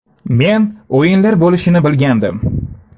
Men o‘yinlar bo‘lishini bilgandim.